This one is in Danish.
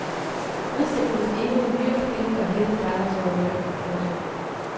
Udsigten til endnu et myreflittigt og heftigt arbejdsår rykker. punktum